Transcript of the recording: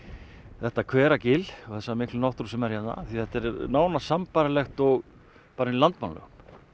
þetta þessa mikla náttúru sem er hérna því þetta er nánast sambærilegt og inni í Landmannalaugum